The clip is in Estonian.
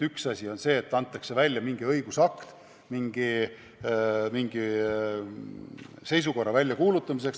Üks asi on see, et antakse välja mingi õigusakt mingi seisukorra väljakuulutamiseks.